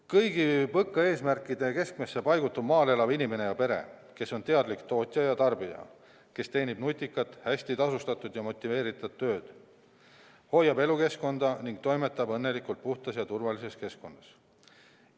Kõigi PõKa eesmärkide keskmesse paigutub maal elav inimene ja pere, kes on teadlik tootja ja tarbija, kes teeb nutikat, hästi tasustatud ja motiveeritud tööd, hoiab elukeskkonda ning toimetab õnnelikult puhtas ja turvalises keskkonnas.